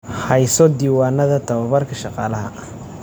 Hayso diiwaanada tababarka shaqaalaha.